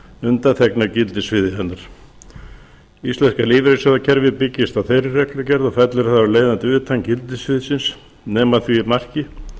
undanþegnar gildissviði hennar íslenska lífeyrissjóðakerfið byggist á þeirri reglugerð og fellur þar af leiðandi utan gildissviðsins nema að því marki